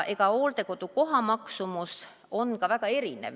Hooldekodukoha maksumus on ka väga erinev.